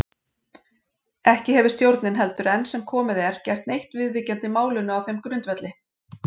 Ekki hefir stjórnin heldur enn sem komið er gert neitt viðvíkjandi málinu á þeim grundvelli.